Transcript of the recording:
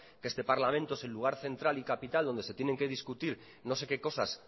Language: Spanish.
que este parlamento es el lugar central y capital donde se tienen que discutir no sé que cosas